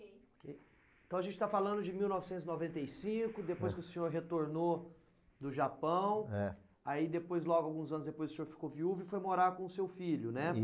Então a gente está falando de mil novecentos e noventa e cinco, depois que o senhor retornou do Japão... É. Aí depois, logo alguns anos depois, o senhor ficou viúvo e foi morar com o seu filho, né?